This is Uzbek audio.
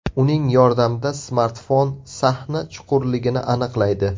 Uning yordamida smartfon sahna chuqurligini aniqlaydi.